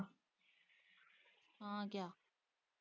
ਹਾਂ ਕਿਆ?